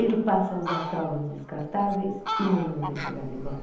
Ele passa a usar fraldas descartáveis e mandamos a empregada embora.